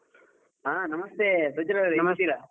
ಹಾ ನಮಸ್ತೆ ಪ್ರಜ್ವಲ್ಲವ್ರೆ ಹೇಗಿದ್ದೀರಾ?